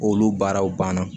Olu baaraw banna